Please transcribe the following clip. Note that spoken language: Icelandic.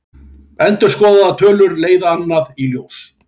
Endurskoðaðar tölur leiða annað í ljós